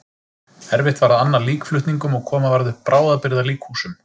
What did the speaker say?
Erfitt var að anna líkflutningum og koma varð upp bráðabirgða líkhúsum.